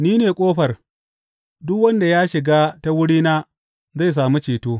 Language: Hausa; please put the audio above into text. Ni ne ƙofar; duk wanda ya shiga ta wurina zai sami ceto.